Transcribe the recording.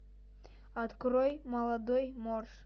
открой молодой морж